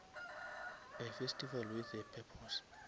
a festival with a purpose